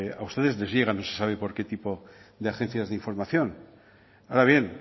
a ustedes les llegan no se sabe por qué tipo de agencias de información ahora bien